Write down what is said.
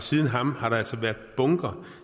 siden ham har der altså været bunker